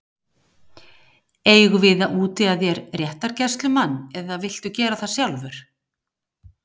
Eigum við að útvega þér réttargæslumann eða viltu gera það sjálfur?